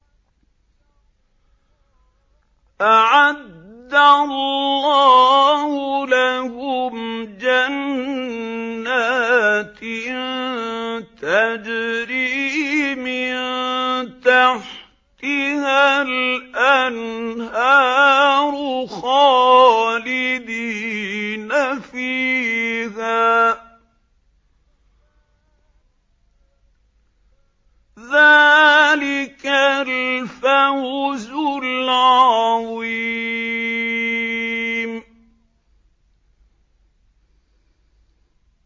أَعَدَّ اللَّهُ لَهُمْ جَنَّاتٍ تَجْرِي مِن تَحْتِهَا الْأَنْهَارُ خَالِدِينَ فِيهَا ۚ ذَٰلِكَ الْفَوْزُ الْعَظِيمُ